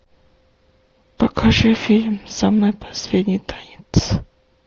покажи фильм самый последний танец